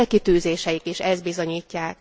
A célkitűzéseik is ezt bizonyítják.